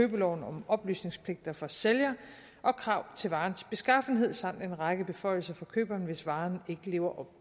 købeloven om oplysningspligt for sælger og krav til varens beskaffenhed samt en række beføjelser for køberen hvis varen ikke lever